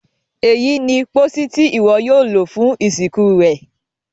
èyí ní pósí Ti iwọ yóò lo fún ìsìnkú rẹ.